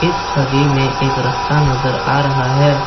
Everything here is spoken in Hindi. इस छवि में एक रास्ता नजर आ रहा है।